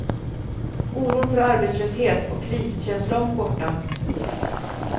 Oron för arbetslöshet och kris känns långt borta.